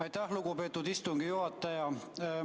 Aitäh, lugupeetud istungi juhataja!